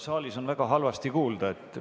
Saalis on väga halvasti kuulda.